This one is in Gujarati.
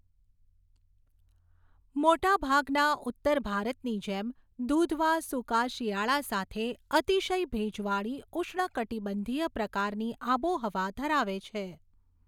મોટાભાગના ઉત્તર ભારતની જેમ, દુધવા સૂકા શિયાળા સાથે અતિશય ભેજવાળી ઉષ્ણકટિબંધીય પ્રકારની આબોહવા ધરાવે છે.